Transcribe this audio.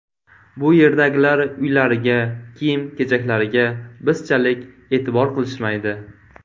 Bu yerdagilar uylariga, kiyim-kechaklariga bizchalik e’tibor qilishmaydi.